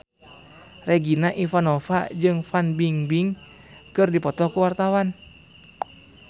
Regina Ivanova jeung Fan Bingbing keur dipoto ku wartawan